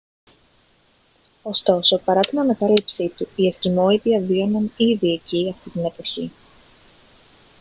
ωστόσο παρά την ανακάλυψή του οι εσκιμώοι διαβίωναν ήδη εκεί αυτή την εποχή